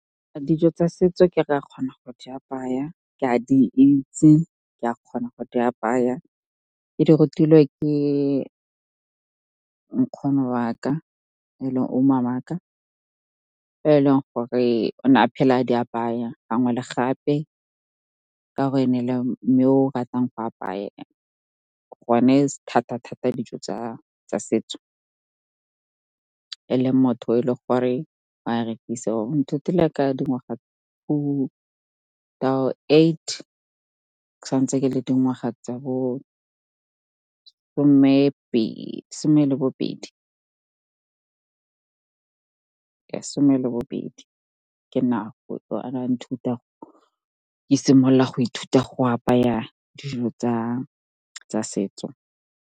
Dijo tsa setso ke a kgona go di apaya, ke a di itse, ke a kgona go di apaya. Ke di rutilwe ke nkgono wa ka, e leng , e leng gore o ne a phela a di apaya gangwe le gape ka gore e ne e le mme o ratang go apaya gone thata-thata dijo tsa setso. E le motho e le gore wa rekisa, o nthutile ka dingwaga ke sa ntse ke le dingwaga tsa bo some le bobedi, ka nako ke simolola go ithuta go apaya dijo tsa setso.